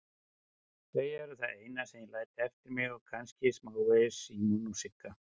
Þau eru það eina sem ég læt eftir mig og kannski smávegis Símon og Sigga.